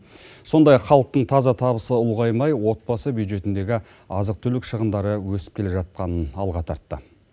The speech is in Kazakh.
сондай ақ халықтың таза табысы ұлғаймай отбасы бюджетіндегі азық түлік шығындары өсіп келе жатқанын алға тартты